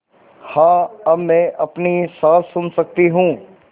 हाँ अब मैं अपनी साँस सुन सकती हूँ